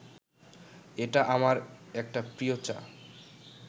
এটা আমার একটা প্রিয় চা